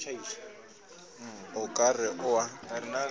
o ka re o a